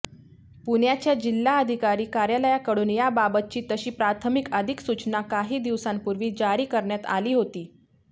पुण्याच्या जिल्हाधिकारी कार्यालयाकडून याबाबतची तशी प्राथमिक अधिसूचना काही दिवसांपूर्वी जारी करण्यात आली होती